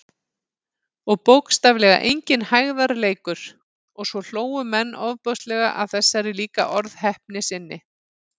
Og bókstaflega enginn hægðarleikur- og svo hlógu menn ofboðslega að þessari líka orðheppni sinni.